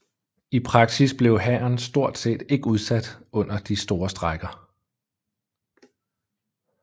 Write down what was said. I praksis blev hæren stort set ikke indsat under de store strejker